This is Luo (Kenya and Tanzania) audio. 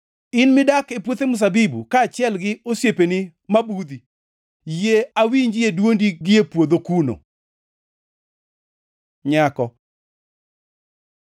In midak e puothe mzabibu kaachiel gi osiepeni mabudhi, yie awinjie dwondi gie puodho kuno! Nyako